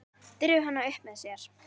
Dregur hana upp að sér.